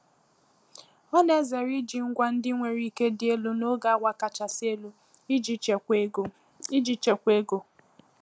Ọ na-ezere iji ngwa ndị nwere ike dị elu n'oge awa kachasị elu iji chekwaa ego. iji chekwaa ego.